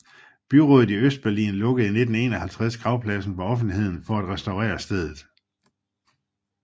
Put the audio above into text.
Byrådet i Østberlin lukkede i 1951 gravpladsen for offentligheden for at restaurere stedet